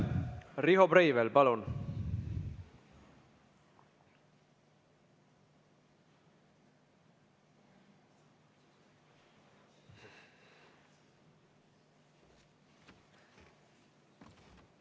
Riho Brevel, palun!